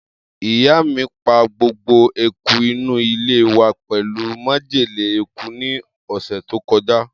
Iya mi pa gbogbo eku inu ile wa pelu majele eku ni ose to koja.